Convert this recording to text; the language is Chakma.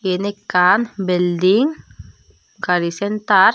yan ekkan building gari center.